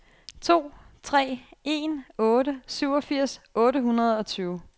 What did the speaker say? to tre en otte syvogfirs otte hundrede og tyve